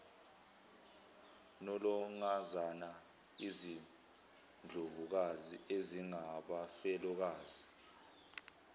nolangazana izindlovukazi ezingabafelokazi